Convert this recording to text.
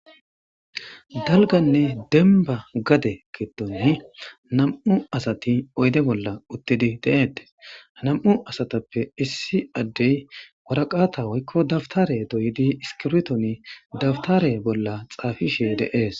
Dalganne denba gade kedonni nam7u asati oyde bolla uttidi de7eette nam7u asatappe issi addey waraqata woykko dabtare doyidi iskirtoni dabtare bolla xaafishe deees.